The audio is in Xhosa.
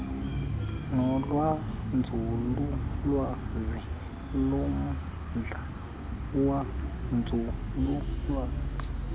nolwenzululwazi lommandla wenzululwazi